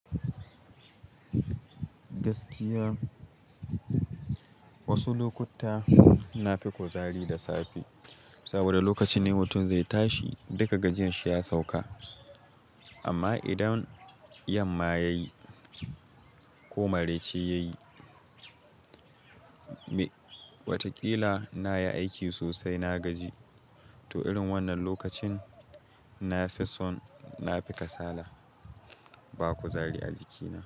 Gaskiya wasu lokuta na fi kuzari da safe saboda lokacin ne mutun zai tashi duka gajin shi ya sauka. Amma idan yamma ya yi ko maraice ya yi, wataƙila na yi aiki sosai na gaji. To irin wannan lokacin na fi son na fi kasala. Ba kuzari a jikina.